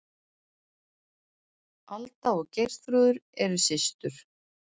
Alda og Geirþrúður, eru systur.